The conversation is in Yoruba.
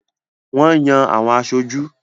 Wọ́n Yan àwọn aṣojú.